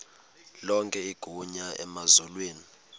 lonke igunya emazulwini